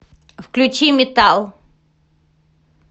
включи метал